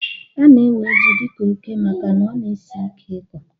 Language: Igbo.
Ana ewe jị dika óké màkà na ọ na- esị ike ịkọ